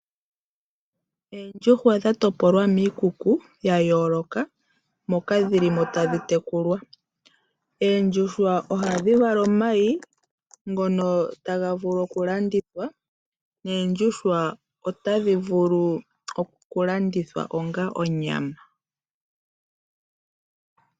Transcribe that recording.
Oondjuhwa dha topolwa miikuku ya yoloka moka dhilimo tadhi tekulwa. Oondjuhwa ohadhi vala omayi ngono taga vulu oku landithwa. Oondjuhwa otadhi vulu oku landithwa onga onyama.